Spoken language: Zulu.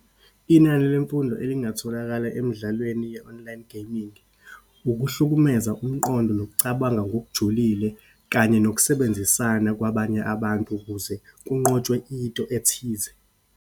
Inani lemfundo elingatholakala emidlalweni ye-online gaming, ukuhlukumeza umqondo, nokucabanga ngokujulile, kanye nokusebenzisana kwabanye abantu, ukuze kunqotshwe into ethize.